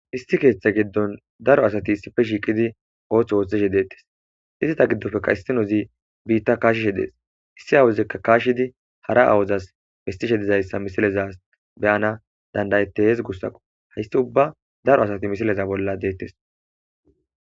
Issi keeththe giddon daro asati issife shiiqidi oothth ooththeshe deettes izita giddofekka istinozi biitta kaashishe dees issi awuzikka kaashidi hara awuzas pestishe dizayssa misileza beyana dandayetehez gussaqo haysti ubba daro asati misileza bolla deettes.